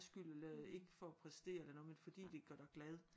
Skyld ikke for at præstere eller noget men fordi det gør dig glad